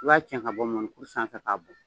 U b'a cɛ ka bɔ mɔni kuru sanfɛ k'a bon